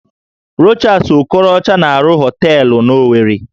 Rochas Okorocha na-arụ họteelụ n'Owerri